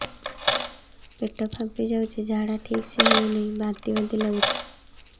ପେଟ ଫାମ୍ପି ଯାଉଛି ଝାଡା ଠିକ ସେ ହଉନାହିଁ ବାନ୍ତି ବାନ୍ତି ଲଗୁଛି